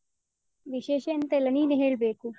ವಿಶೇಷ ಎಂತ ಇಲ್ಲ, ನೀನೆ ಹೇಳ್ಬೇಕು?